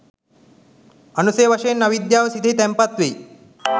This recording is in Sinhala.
අනුසය වශයෙන් අවිද්‍යාව සිතෙහි තැන්පත් වෙයි.